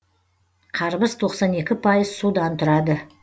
қарбыз тоқсан екі пайыз судан тұрады